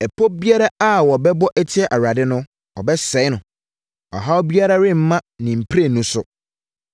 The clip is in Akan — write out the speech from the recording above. Ɛpɔ biara a wɔbɛbɔ atia Awurade no, ɔbɛsɛe no; ɔhaw biara remma ne mprenu so.